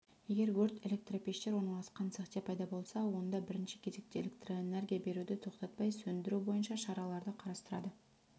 егер өрт электропештер орналасқан цехте пайда болса онда бірінші кезекте электроэнергия беруді тоқтатпай сөндіру бойынша шараларды қарастырады